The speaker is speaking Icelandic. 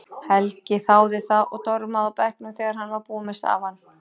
Helgi þáði það og dormaði á bekknum þegar hann var búinn með safann.